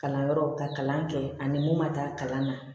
Kalanyɔrɔw ka kalan kɛ ani mun ma taa kalan na